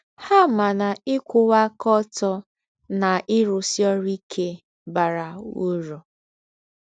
Ha ma na ịkwụwa aka ọtọ na ịrụsi ọrụ ike bara ụrụ....